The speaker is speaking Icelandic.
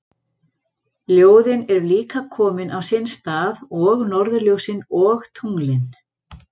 Ljóðin eru líka komin á sinn stað og norðurljósin og tunglin.